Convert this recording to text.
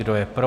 Kdo je pro?